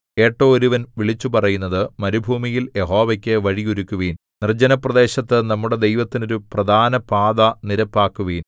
കേട്ടോ ഒരുവൻ വിളിച്ചു പറയുന്നത് മരുഭൂമിയിൽ യഹോവയ്ക്കു വഴി ഒരുക്കുവിൻ നിർജ്ജനപ്രദേശത്തു നമ്മുടെ ദൈവത്തിന് ഒരു പ്രധാനപാത നിരപ്പാക്കുവിൻ